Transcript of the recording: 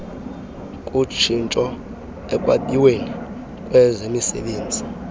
kutshintsho ekwabiweni kwemisebenzi